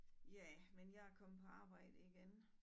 Ja men jeg er kommet på arbejde igen